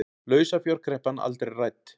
Lausafjárkreppan aldrei rædd